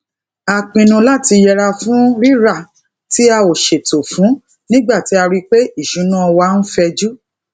a pinu lati yẹra fun rira ti a o ṣeto fun nigba ti a ri pe iṣuna wa n fẹju